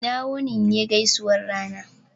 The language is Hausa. "ina wuni" ne gaisuwan rana